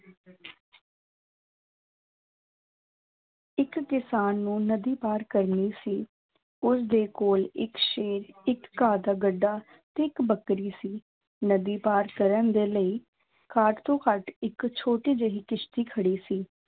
ਇੱਕ ਕਿਸਾਨ ਨੂੰ ਨਦੀ ਪਾਰ ਕਰਨੀ ਸੀ, ਉਸਦੇ ਕੋਲ ਇੱਕ ਸ਼ੇਰ ਇੱਕ ਘਾਹ ਦਾ ਗੱਡਾ ਤੇ ਇੱਕ ਬੱਕਰੀ ਸੀ, ਨਦੀ ਪਾਰ ਕਰਨ ਦੇ ਲਈ ਘੱਟ ਤੋਂ ਘੱਟ ਇੱਕ ਛੋਟੀ ਜਿਹੀ ਕਿਸ਼ਤੀ ਖੜੀ ਸੀ।